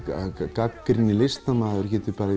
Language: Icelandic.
gagnrýninni listamaður geti